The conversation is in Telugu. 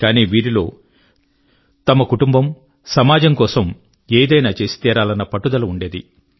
కానీ వీరిలో తమ కుటుంబం మరియు సమాజం కొరకు ఏదైనా చేసి తీరాలన్న పట్టుదల ఉండేది